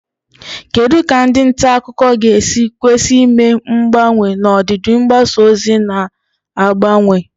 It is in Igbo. Kedu ka ndị nta akụkọ ga-esi kwesị ime mgbanwe n'ọdịdị mgbasa ozi na-agbanwe?